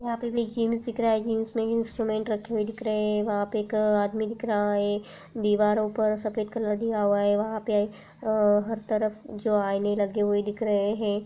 Gyms दिख रहा है जिम्स में इंस्ट्रूमेंट रखे हुए दिख रहे है वहां पे एक आदमी दिख रहा है दीवारों पर सफेद कलर दिया हुआ है वहा पर अ- हर तरफ जो आईने लगे हुए दिख रहे है।